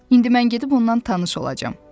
İndi mən gedib ondan tanış olacam.